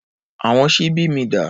Àwọn ṣíbí mi dà?